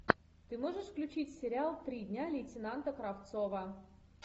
ты можешь включить сериал три дня лейтенанта кравцова